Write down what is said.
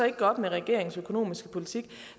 ikke gøre op med regeringens økonomiske politik